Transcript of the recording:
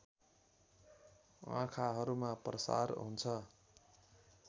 आँखाहरूमा प्रसार हुन्छ